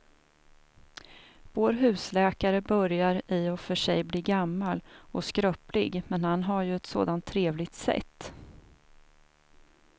Vår husläkare börjar i och för sig bli gammal och skröplig, men han har ju ett sådant trevligt sätt!